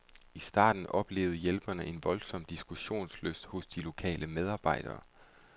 I starten oplevede hjælperne en voldsom diskussionslyst hos de lokale medarbejdere.